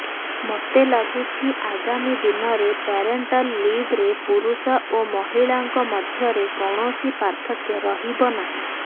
ମୋତେ ଲାଗୁଛି ଆଗାମୀ ଦିନରେ ପ୍ୟାରେଣ୍ଟାଲ୍ ଲିଭ୍ରେ ପୁରୁଷ ଓ ମହିଳାଙ୍କ ମଧ୍ୟରେ କୌଣସି ପାର୍ଥକ୍ୟ ରହିବ ନାହିଁ